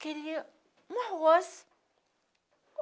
Queria um arroz.